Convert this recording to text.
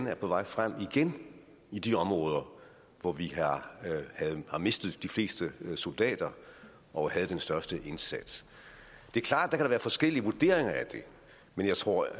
er på vej frem igen i de områder hvor vi har mistet de fleste soldater og havde den største indsats det er klart at være forskellige vurderinger af det men jeg tror